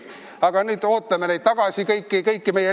Aga nüüd ootame tagasi kõiki meie linde.